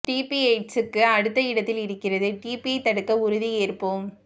DP எய்ட்சுக்கு அடுத்த இடத்தில் இருக்கிறது டிபியை தடுக்க உறுதி ஏற்போம்